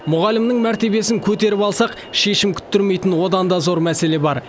мұғалімнің мәртебесін көтеріп алсақ шешім күттірмейтін одан да зор мәселе бар